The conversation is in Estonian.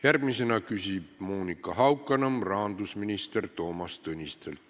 Järgmisena küsib Monika Haukanõmm rahandusminister Toomas Tõnistelt.